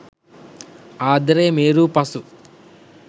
ආදරය මේරූ පසු